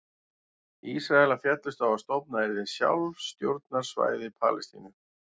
Ísraelar féllust á að stofnað yrði sjálfstjórnarsvæði Palestínu.